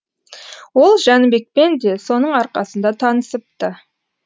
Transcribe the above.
ол жәнібекпен де соның арқасында танысыпты